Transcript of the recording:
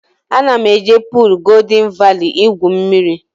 Ana m eje puul Goldịn Vali igwu mmiri